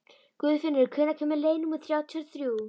Guðfinnur, hvenær kemur leið númer þrjátíu og þrjú?